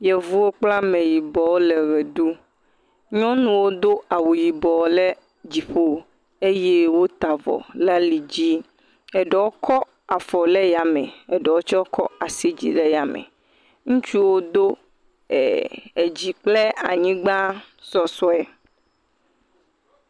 Yevuwo kple ameyibɔwo le ʋe ɖum, nyɔnuwo domawu yibɔ le dziƒo eye wota avɔ le ali dzi eɖewo kɔ afɔ le yame eɖewo tse kɔ asi dzi le yame, ŋutsuwo do eee….edzi kple anyigba sɔsɔe.